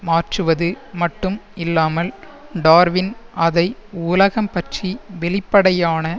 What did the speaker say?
மாற்றுவது மட்டும் இல்லாமல் டார்வின் அதை உலகம் பற்றி வெளிப்படையான